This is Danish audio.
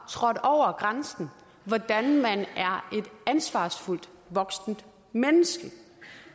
trådt over grænsen hvordan man er et ansvarsfuldt voksent menneske